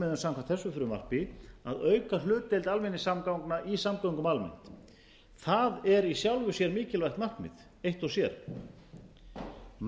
meginmarkmiðum samkvæmt þessu frumvarpi að auka hlutdeild almenningssamgangna í samgöngum almennings það er í sjálfu sér mikilvægt markmið eitt og sér